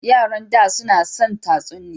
Yaran da su na son tatsuniya.